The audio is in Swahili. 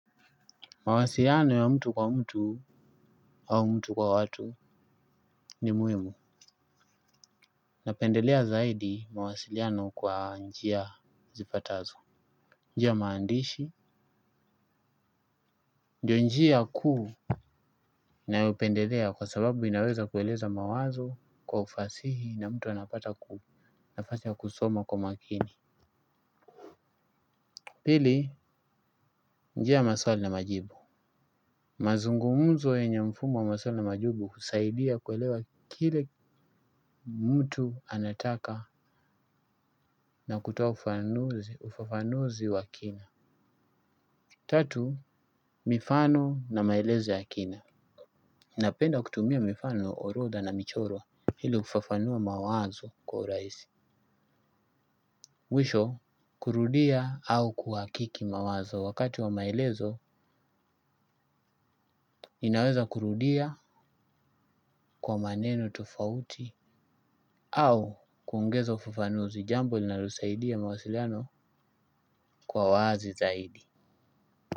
Mawasiliano ya mtu kwa mtu au mtu kwa watu ni muhimu. Napendelea zaidi mawasiliano kwa njia zifatazo. Njia maandishi. Njia njia kuu na upendelea kwa sababu inaweza kueleza mawazo kwa ufasihi na mtu anapata ku nafasi ya kusoma kwa makini. Pili, njia maswali na majibu. Mazungumuzo wenye mfumo wa maswali majubu kusaidia kuelewa kile mtu anataka na kutoa ufafanuzi wa kina tatu mifano na maelezo ya kina. Napenda kutumia mifano, orodha na michoro hili ufafanua mawazo kwa uraisi mwisho, kurudia au kuhakiki mawazo wakati wa maelezo, nbinweza kurudia kwa maneno tofauti au kuongeza ufafanuzi jambo linalo saidia mawasiliano kuwa wazi zaidi.